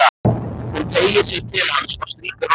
Hún teygir sig til hans og strýkur honum um hárið.